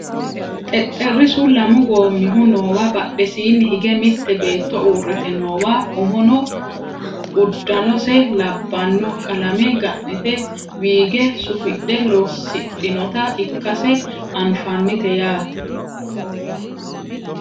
xexxerrisu lamu goommihu noowa badhesiinni higge mitte beetto uurrite noowa umono uddanose labbanno qalame ga'nite wiige sufidhe loosidhinota ikkase anfannite yaate